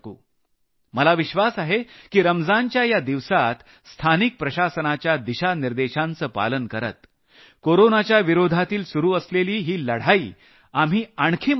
मला विश्वास आहे की रमजानच्या या दिवसांत स्थानिक प्रशासनाच्या दिशानिर्देशांचं पालन करत कोरोनाच्या विरोधातील सुरू असलेली ही लढाई आपण आणखी मजबूत करू